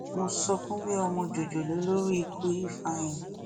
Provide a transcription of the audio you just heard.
mo sọkún bí ọmọ jòjòló lórí ikú ifeanyi